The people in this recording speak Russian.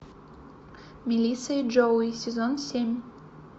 мелисса и джоуи сезон семь